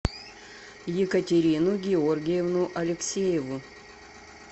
екатерину георгиевну алексееву